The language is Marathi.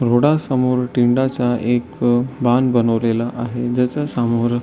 रोडा समोर टिंडाचा एक बनवलेला आहे ज्याच्या समोर --